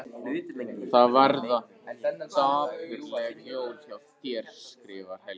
Það verða dapurleg jól hjá þér skrifar Helgi.